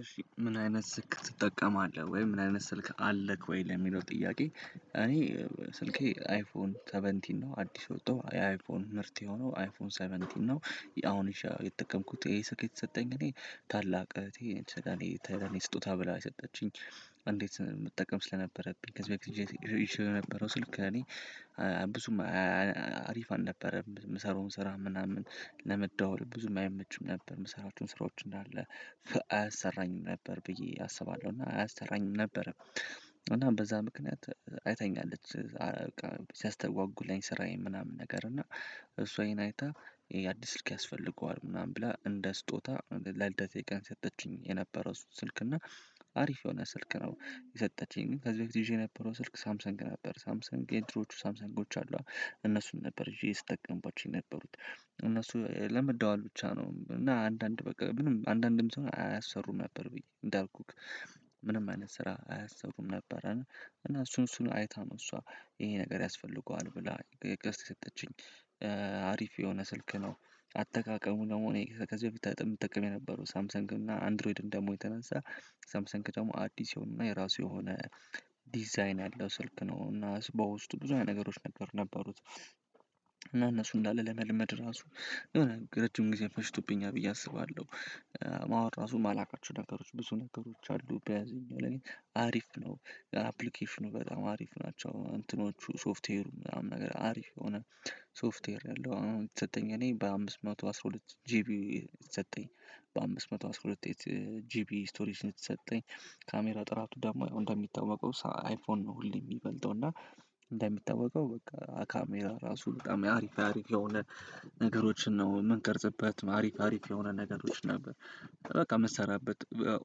እሺ ምን አይነት ስልክ ትጠቀማለህ ወይ ምን አይነት ስልክ አለህ ወይ? ለሚለው ጥያቄ እኔ ስልኬ አይፎን ሰቨንቲን ነው አዲስ የወጠው የአይፎን ምርት የሆነው አይፎን ሰቨንቲን ነው። አሁን ይዠ የተጠቀምኩት ይሄ ስልክ የተሰጠኝ እኔ ታላቅ እህቴ ሰለእኔ ተኔ ስጦታ ብላ የሰጠችኝ። እንዴት የምጠቀም ስለነበረብኝ ከዚህ በፊት ይዣት ይዠው የነበረው ስልክ እኔ ብዙም አያ አሪፍ አልነበረም የምሰራውን ስራ ምናምን ለመደዋዎል ብዙም አይመችም ነበር የምሰራቸውን ስራዎች እንዳለ አያሰራኝም ነበር ብዬ አስባለሁ እና አያሰራኝም ነበር። እና በዛ ምክንያት አይታኛለች በቃ ሲያስተጓጉለኝ ስራዬን ምናምን ነገር እና እሷ ይሄን አይታ የአዲስ ስልክ ያስፈልገዋል ምናምን ብላ እንደ ስጦታ ለልደቴ ቀን ሰጠችኝ የነበረው ስልክ እና አሪፍ የሆነ ስልክ ነው። የሰጠችኝ ግን ከዚህ በፊት ይዤው የነበረው ስልክ ሳምሰንግ ነበር ሳምሰንግ የድሮዎቹ ሳምሰን ጎች አሉ አ እነሱን ነበር ይዤ ስጠቀምባቸው የነበሩት እነሱ ለመደዋዎል ብቻ ነው እና አንዳንድ በቃ ምንም አንዳንድም እንትን አያሰሩም ነበር ብዬ እንዳልኩት ምንም አይነት ስራ አያሰሩም ነበር። እና እሱን እሱን አይታነው እሷ ይሄ ነገር ያስፈልገዋል ብላ ገዝታ የሰጠችኝ አሪፍ የሆነ ስልክ ነው። አጠቃቀሙ ደግሞ እኔ ከዚህ በፊት ተጠ የምጠቀም የነበረው ሳምሰንግ እና አንድሮይድ እንደ መሆኑ የተነሳ ሳምሰንግ ደግሞ አዲስ የሆኑ እና የራሱ የሆነ ዲዛይን ያለው ስልክ ነው እና በውስጡ ብዙ አይነት ነገሮች ነበር ነበሩት እና እነሱ እንዳለ ለመለመድ ራሱ የሆነ ረጅም ጊዜ ፈጅቶብኛል ብዬ አስባለሁ። ማወቅ ራሱ የማላውቃቸው ነገሮች ብዙ ነገሮች አሉ በዚኛው ላይ አሪፍ ነው አፕሊኬሽኑ በጣም አሪፍ ናቸው እንትኖቹ ሶፍትዌሩ ምናምን ነገር አሪፍ የሆነ። ሶፍትዌር ያለው አሁን የተሰጠኝ እኔ በአምስት መቶ አስራ ሁለት ጂቢ የተሰጠኝ በአምስት መቶ አስራ ሁለት ኤይት ጂቢ ስቶሬጅ የተሰጠኝ ካሜራ ጥራቱ ደግሞ ያው እንደሚታወቀው ሰ አይፎን ነው ሁሌ የሚበልጠው እና እንደሚታወቀው በቃ አ ካሜራ ራሱ በጣም አሪፍ አሪፍ የሆነ ነገሮችን ነው የምንቀርጽበት አሪፍ አሪፍ የሆነ ነገሮች ነበር በቃ የምትሰራበት በ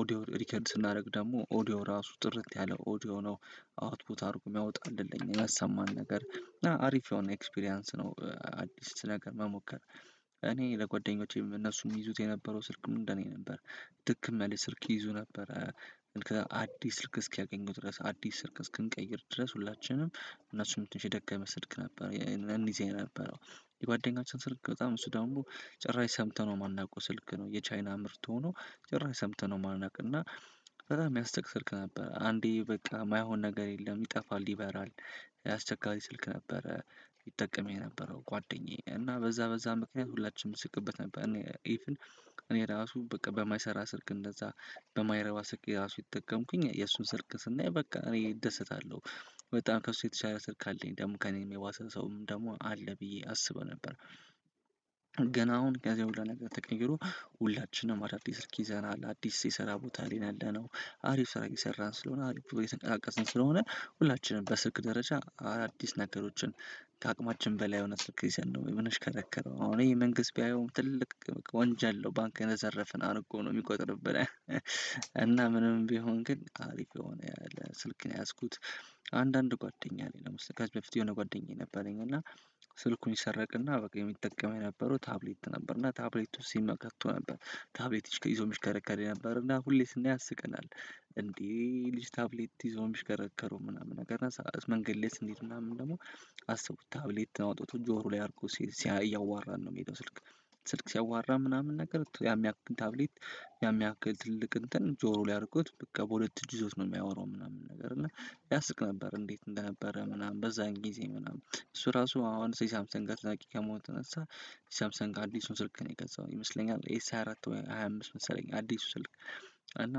ኦዲዮ ሪከርድ ስናደርግ ደግሞ ኦዲዮ ራሱ ጥርት ያለ ኦዲዮ ነው አውትፑት አድርጎ የሚያወጣልን ለእኛ ለእኛ ያሰማን ነገር እና አሪፍ የሆነ ኤክስፒሪያንስ ነው። አዲስ ነገር መሞከር እኔ ለጓደኞቼ እነሱም ይይዙት የነበረው ስልክም እንደኔ ነበር ድክም ያለ ስልክ ይይዙ ነበረ ከአዲስ ስልክ እስኪያገኙ ድረስ አዲስ ስልክ እስክንቀይር ድረስ ሁላችንም እነሱም ትንሺ የደከመ ስልክ ነበር እንይዝ የነበረው የጓደኛችን ስልክ በጣም እሱ ደግሞ ጭራሽ ሰምተነው የማናውቀው ስልክ ነው የቻይና ምርት ሆኖ ጭራሽ ሰምተነው የማናውቅ እና በጣም የሚያስቅ ስልክ ነበር አንዴ በቃ የማይሆን ነገር የለም ይጠፋል ይበራል። አስቸጋሪ ስልክ ነበረ ይጠቀም የነበረው ጓደኛዬ እና በዛ በዛ ምክንያት ሁላችንም እንስቅበት ነበር እኔ ኢቭን እኔ ራሱ በቃ በማይሰራ ስልክ እንደዛ በማይረባ ስልክ እኔ ራሱ እየተጠቀምኩኝ የእሱን ስልክ ስናይ በቃ እኔ እደሰታለሁ በጣም ከሱ የተሻለ ስልክ አለኝ ደግሞ ከእኔ የባሰ ሰውም ደግሞ አለ ብዬ አስበው ነበር። ገና አሁን ከዚያ ሁሉ ነገር ተቀይሮ ሁላችንም አዳዲስ ሰልክ ይዘናል አዲስ የስራ ቦታ ላይ ነው ያለነው አሪፍ ስራ እየሰራን ስለሆነ አሪፍ ብሮ እየንቀሳቀስን ስለሆነ ሁላችንም በስልክ ደረጃ አዳአዲስ ነገሮችን ከአቅማችን በላይ የሆነ ስልክ ይዘን ነው የምንሽከረከረው አሁን ይሄ መንግስት ቢያየውም ትልቅ ወንጀል ነው ባንክ የዘረፍን አርጎ ነው የሚቆጥርብን እና ምንም ቢሆን ግን አሪፍ የሆነ ያለ ስልክ ነው የያዝኩት። አንዳንድ ጓደኛ አለኝ ለምሳሌ ከዚህ ከፊት የሆነ ጓደኛየ ነበረኝ እና ስልኩን ይሰረቅና በቃ የሚጠቀመው የነበረው ታብሌት ነበር እና ታብሌት ውስጥ ሲም ከቶ ነበር ታብሌት ይዞ የሚሽከረከር የነበረ እና ሁሌ ሰናየው ያስቀናል እንዴ ይህ ልጅ ታብሌት ይዞ ነው የሚሽከረከረው ምናምን ነገር እና መንገድ ላይ ስንሄድ ምናምን ደግሞ አስቡት ታብሌት አውጥቶ ጆሮ ላይ አድርጎ ሲያሲያ እያዋራን ነው የሚሄደው ስልክ ስልክ ሲያዋራ ምናምን ነገር ያን ያክል ታብሌት ያን የሚያክል ትልቅ እንትን ጆሮው ላይ አድርጎት በቃ በሁለት እጁ ይዞት ነው የሚያወራው ምናምን ነገር እና ያስቅ ነበር እንዴት እንደነበረ ምናምን በዛን ጊዜ ምናምን እሱ ራሱ አሁን እሱ የሳምሰንግ አድናቂ ከመሆኑ የተነሳ ሳምሰንግ አዲሱን ስልክ ነው የገዛው ይመስለኛል ኤስ ሃያ አራት ሃያ አምስት መሰለኝ አዲሱ ስልክ እና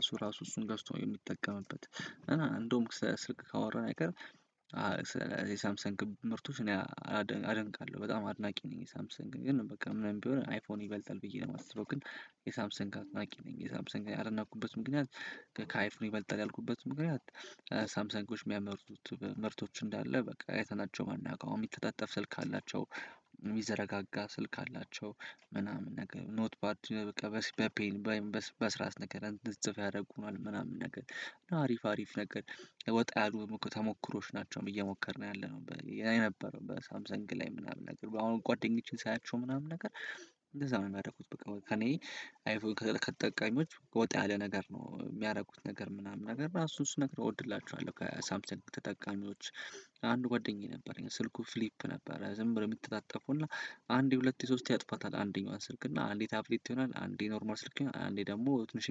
እሱ ራሱ እሱን ገዝቶ የሚጠቀምበት እና እንደውም ስልክ ካወራን አይቀር። ሰለ የሳምሰንግ ምርቶች እኔ አላደ አደንቃለሁ በጣም አድናቂ ነኝ የሳምሰንግ ግን በቃ ምንም ቢሆን አይፎን ይበልጣል ብዬ ነው የማስበው ግን የሳምሰንግ አድናቂ ነኝ የሳምሰንግ ያደናቁበት ምክንያት ከካይፎን ይበልጣል ያልኩበት ምክንያት ሳምሰንጎች የሚያመርቱት ምርቶች እንዳለ በቃ አይተናቸው የማናዉቀው አሁን የሚተጣጠፍ ስልክ አላቸው። የሚዘረጋጋ ስልክ አላቸው ምናምን ነገር ኖት ፓድ በቃ በስ በፔን ባይ በስ በእርሳስ ነገር እንድንጽፍ ያደርጉናል ምናምን ነገር አሪፍ አሪፍ ነገር ወጣ ያሉ ተሞክሮዎች ናቸው። እየሞከርን ያለነው በ የነበረው በሳምሰንግ ላይ ምናምን አሁን ጓደኞቼን ሳያቸው ምናምን ነገር እንደዛ ነው የሚያደርጉት በቃ ከእኔ አይፎን ከከተጠቀሚዎች ወጣ ያለ ነገር ነው የሚያደርጉት ነገር ምናምን ነገር እና እሱን እሱን ነገር እወድላቸዋለሁ ከሳምሰንግ ተጠቃሚዎች። አንዱ ጓደኛዬ ነበረኝ ስልኩ ፍሊፕ ነበረ ዝም ብሎ የሚተጣጠፉና አንዴ ሁለቴ ሶስቴ ያጥፋታል አንደኛዋን ስልክ እና አንዴ ታብሌት ይሆናል አንዴ ኖርማል ስልክ ይሆናል አንዴ ደግሞ ትንሽየ